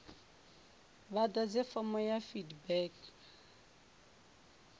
vha ḓadze fomo ya feedback